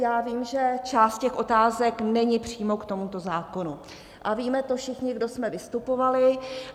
Já vím, že část těch otázek není přímo k tomuto zákonu, a víme to všichni, kdo jsme vystupovali.